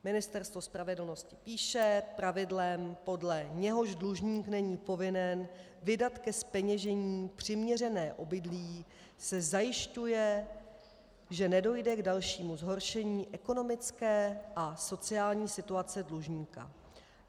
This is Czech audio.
Ministerstvo spravedlnosti píše: Pravidlem, podle něhož dlužník není povinen vydat ke zpeněžení přiměřené obydlí, se zajišťuje, že nedojde k dalšímu zhoršení ekonomické a sociální situace dlužníka.